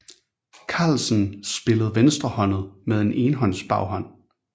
Carlsen spillede venstrehåndet med en enhåndsbaghånd